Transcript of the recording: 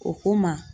O ko ma